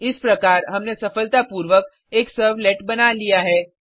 इस प्रकार हमने सफलतापूर्वक एक सर्वलेट बना लिया है